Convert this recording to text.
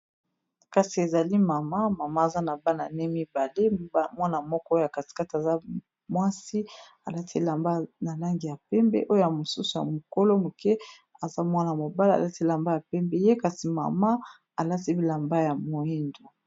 Kasi ezali mama mama aza na bana ne mibale. Mwana moko oyo ya katikate aza mwasi alati elamba na langi ya pembe oyo ya mosusu ya mokolo moke aza mwana mobala alati elamba ya pembe ye kasi mama alati bilamba ya moindo.